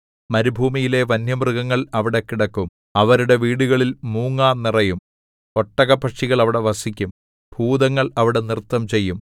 മരുഭൂമിയിലെ വന്യമൃഗങ്ങൾ അവിടെ കിടക്കും അവരുടെ വീടുകളിൽ മൂങ്ങാ നിറയും ഒട്ടകപ്പക്ഷികൾ അവിടെ വസിക്കും ഭൂതങ്ങൾ അവിടെ നൃത്തംചെയ്യും